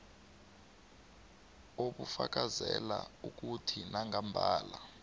obufakazela ukuthi nangambala